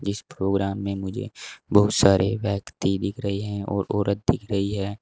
जिस प्रोग्राम में मुझे बहुत सारे व्यक्ति दिख रहे है और औरत दिख रही है।